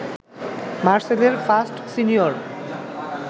মারসেলের first senior